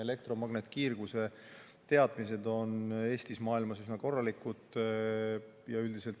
Elektromagnetkiirguse teadmised on Eestis ja mujal maailmas üsna korralikud.